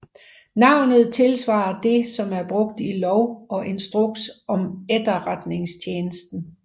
Navnet tilsvarer det som er brugt i Lov og Instruks om Etterretningstjenesten